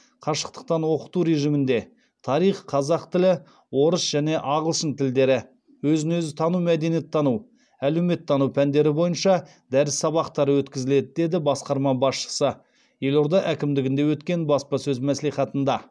қашықтықтан оқыту режимінде тарих қазақ орыс және ағылшын тілдері өзін өзі тану мәдениеттану әлеуметтану пәндері бойынша дәріс сабақтары өткізіледі деді басқарма басшысы елорда әкімдігінде өткен баспасөз мәслихатында